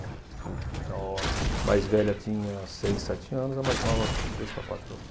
Tá. Então, a mais velha tinha seis, sete anos, a mais nova três para quatro anos.